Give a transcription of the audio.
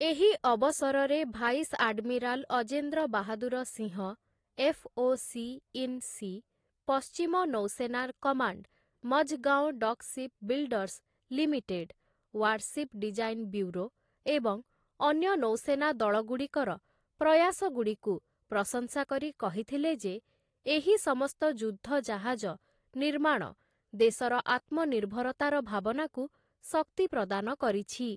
ଏହି ଅବସରରେ vice admiral Ajendra Bahadur Singh, FOC. In C, ପଶ୍ଚିମ ନୌସେନା command Mazagon dock shipbuilders limited, warship design bureau ଏବଂ ଅନ୍ୟ ନୌସେନା ଦଳଗୁଡ଼ିକର ପ୍ରୟାସଗୁଡ଼ିକୁ ପ୍ରଶଂସା କରି କହିଥିଲେ ଯେ, ଏହି ସମସ୍ତ ଯୁଦ୍ଧ ଜାହାଜ ନିର୍ମାଣ ଦେଶର ଆତ୍ମନିର୍ଭରତାର ଭାବନାକୁ ଶକ୍ତି ପ୍ରଦାନ କରିଛି ।